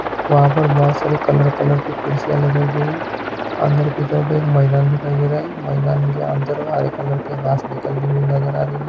वहा पर बहुत सारे कलर-कलर की कुर्सियाँ लगाई गई है अंदर की तरफ एक मैदान दिखाई दे रहा है मैदान के अंदर हरे कलर कि घास निकलती हुई नजर आ रही है।